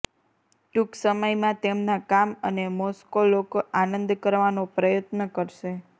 ટૂંક સમયમાં તેમના કામ અને મોસ્કો લોકો આનંદ કરવાનો પ્રયત્ન કરશે